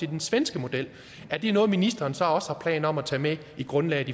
den svenske model er det noget ministeren så også har planer om at tage med i grundlaget